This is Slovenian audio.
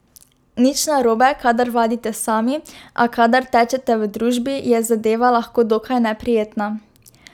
Nič narobe, kadar vadite sami, a kadar tečete v družbi, je zadeva lahko dokaj neprijetna.